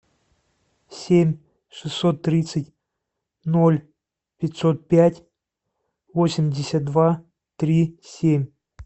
семь шестьсот тридцать ноль пятьсот пять восемьдесят два три семь